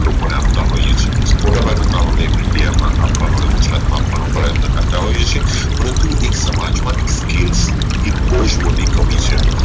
લોકોને આપતા હોઈએ છીએ મોટાભાગનું કામ અમે એક ઇન્ડિયા માં આપવાનું અને ગુજરાતમાં આપવાનો પ્રયત્ન કરતા હોઈએ છીએ પરંતુ એક સમાજ માંથી scale સુ એક બોવજ મોટી કમી છે